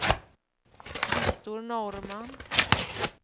Viktor Norrman